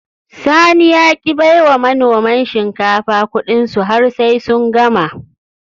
Sani ya ki bai wa manoman shinkafa Ƙudinsu har sai sun gama